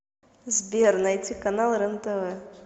сбер найти канал рентв